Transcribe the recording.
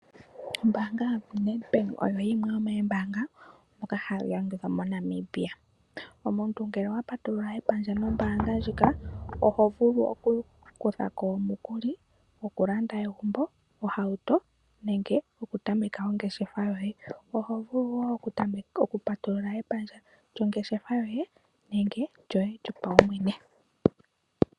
Ombaanga ya Nedbank oyo yimwe yomoombanga ndhoka hadhi adhika moNamibia. Omuntu ngele owa patulula epandja mombaanga ndjika ohovulu oku kuthako omukili goku landa egumbo, ohauto, nenge oku tameka ongeshefa yoye. Ohovulu woo oku patulula epandja lyongeshefa yoye nenge lyoye yopawumwene.